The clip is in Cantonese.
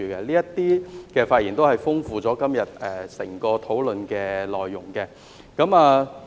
這些發言都豐富了今天整個討論的內容。